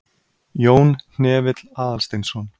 Jón Hnefill Aðalsteinsson.